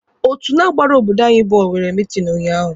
Otu na-agbara obodo anyi bọọlụ nwere meeting unyaahụ.